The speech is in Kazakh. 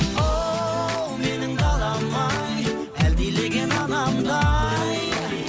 оу менің далам ай әлдилеген анамдай